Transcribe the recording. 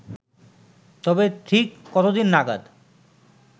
তবে ঠিক কতদিন নাগাদ